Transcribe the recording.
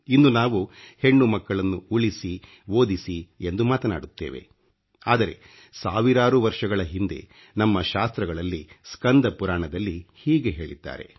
ಇಂದು ನಾವು ಹೆಣ್ಣು ಮಕ್ಕಳನ್ನು ಉಳಿಸಿ ಓದಿಸಿ ಎಂದು ಮಾತನಾಡುತ್ತೇವೆ ಆದರೆ ಸಾವಿರಾರು ವರ್ಷಗಳ ಹಿಂದೆ ನಮ್ಮ ಶಾಸ್ತ್ರ್ರಗಳಲ್ಲಿ ಸ್ಕಂದ ಪುರಾಣದಲ್ಲಿ ಹೀಗೆ ಹೇಳಿದ್ದಾರೆ